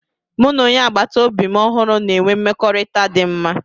M na onye agbata obi ọhụrụ na-enwe mmekọrịta dị mma